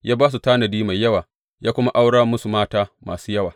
Ya ba su tanadi mai yawa ya kuma aurar musu mata masu yawa.